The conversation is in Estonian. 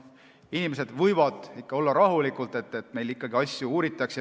Inimesed võivad ikka olla rahulikud, et asju uuritakse.